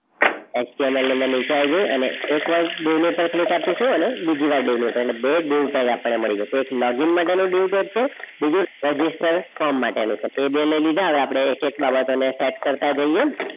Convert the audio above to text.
explorer ના નીચે આવી જઈએ અને એકવાર dieu પર click આપીશું અને બીજી વાર diue પર click આપીશું એટલે બે dieu ltag આપણને મળી જશે એક login માટેનુ label છે અને બીજુ register form માટેનું છે તો એ બે લઈ લીધા હવે આપણે એક એક બાબતોનો set કરતા જઈએ.